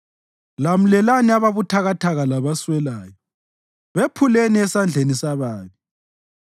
Lamlelani ababuthakathaka labaswelayo; bephuleni esandleni sababi.